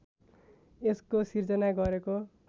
यसको सृजना गरेको